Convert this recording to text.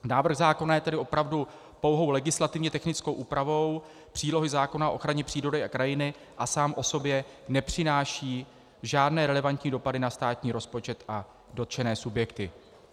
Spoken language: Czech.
Návrh zákona je tedy opravdu pouhou legislativně technickou úpravou přílohy zákona o ochraně přírody a krajiny a sám o sobě nepřináší žádné relevantní dopady na státní rozpočet a dotčené subjekty.